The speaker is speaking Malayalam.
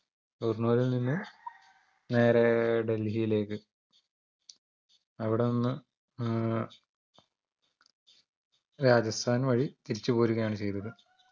ഷൊർണൂരിൽനിന്ന് നേരെ ഡൽഹിയിലേക്ക്‌ അവിടെനിന്ന് ഏർ രാജസ്ഥാൻവഴി തിരിച്ചുപോരുകയാണ് ചെയ്തത്